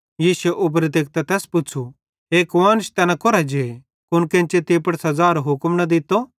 यीशुए उबरे तेकतां तैस पुच़्छ़ू हे कुआन्श तैना कोरां जे कुन केन्चे तीं पुड़ सज़ारो हुक्म न दित्तो